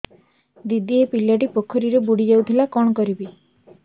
ଦିଦି ଏ ପିଲାଟି ପୋଖରୀରେ ବୁଡ଼ି ଯାଉଥିଲା କଣ କରିବି